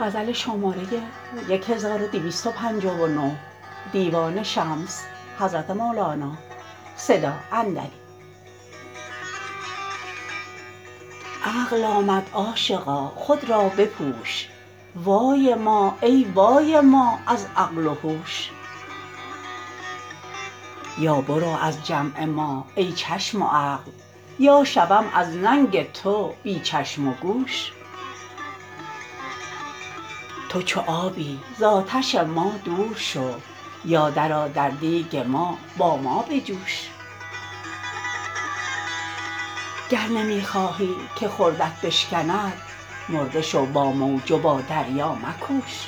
عقل آمد عاشقا خود را بپوش وای ما ای وای ما از عقل و هوش یا برو از جمع ما ای چشم و عقل یا شوم از ننگ تو بی چشم و گوش تو چو آبی ز آتش ما دور شو یا درآ در دیگ ما با ما بجوش گر نمی خواهی که خردت بشکند مرده شو با موج و با دریا مکوش